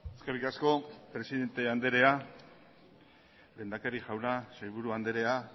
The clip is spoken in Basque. eskerrik asko presidente anderea lehendakari jauna sailburu anderea